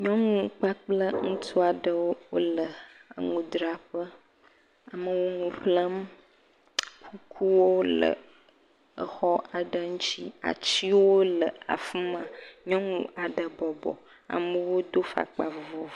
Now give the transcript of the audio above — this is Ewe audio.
Nyɔnuwo kple ŋutsu aɖewo wole nudzraƒe. Amewo nu ƒlem, kukuwo le exɔ aɖe ŋuti. Atiwo le afi ma, nyɔnu aɖe bɔbɔ. Amewo do fɔkpa vovovo.